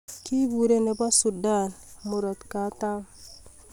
Kepurei nebo Sudan Kusini.